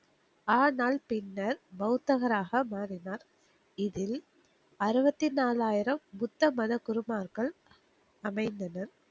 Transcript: ஆனால் பின்னர் பௌத்தகராக மாறினார். இதில் அருவத்டி நாலாயிரம் பௌத்த மத குருமார்கள் அமைந்தனர்.